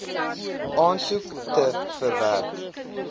aansoek te verwerk